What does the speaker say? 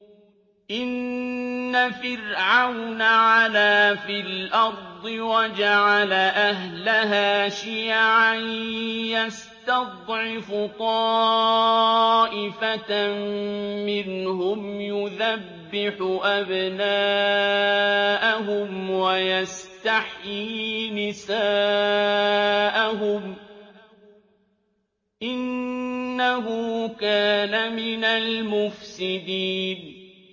إِنَّ فِرْعَوْنَ عَلَا فِي الْأَرْضِ وَجَعَلَ أَهْلَهَا شِيَعًا يَسْتَضْعِفُ طَائِفَةً مِّنْهُمْ يُذَبِّحُ أَبْنَاءَهُمْ وَيَسْتَحْيِي نِسَاءَهُمْ ۚ إِنَّهُ كَانَ مِنَ الْمُفْسِدِينَ